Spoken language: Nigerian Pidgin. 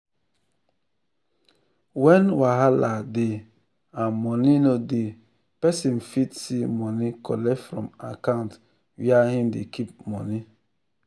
when wahala dey and money no dey peson fit see money collect from account where hin dey keep money.